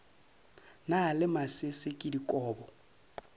na le masese ke dikobo